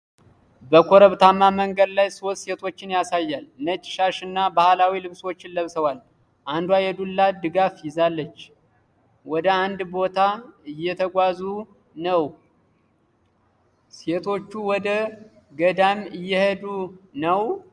በኮረብታማ መንገድ ላይ ሶስት ሴቶችን ያሳያል። ነጭ ሻሽ እና ባህላዊ ልብሶችን ለብሰዋል። አንዷ የዱላ ድጋፍ ይዛለች። ወደ አንድ ቦታ እየተጓዙ ነው። ሴቶቹ ወደ ገዳም እየሄዱ ነው?